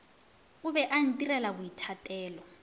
o be a itirela boithatelo